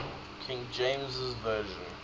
king james version